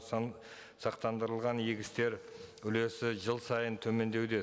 сақтандырылған егістер үлесі жыл сайын төмендеуде